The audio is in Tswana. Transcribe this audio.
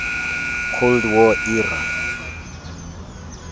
cold war era